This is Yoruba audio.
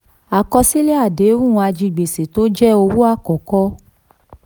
21. àkọsílẹ̀ àdéhùn ajigbèsè tó jẹ́ owó àkókò.